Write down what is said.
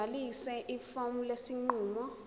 ligcwalise ifomu lesinqumo